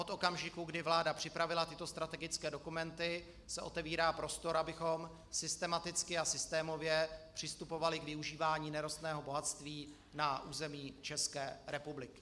Od okamžiku, kdy vláda připravila tyto strategické dokumenty, se otevírá prostor, abychom systematicky a systémově přistupovali k využívání nerostného bohatství na území České republiky.